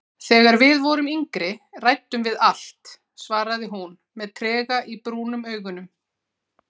Þegar við vorum yngri ræddum við allt, svaraði hún með trega í brúnum augunum.